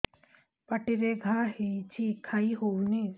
ପାଟିରେ ଘା ହେଇଛି ଖାଇ ହଉନି